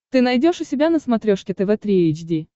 ты найдешь у себя на смотрешке тв три эйч ди